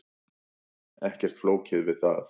Ekkert flókið við það.